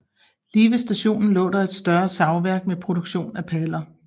Lige ved stationen lå der et større savværk med produktion af paller